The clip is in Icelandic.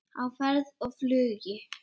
Á ferð og flugi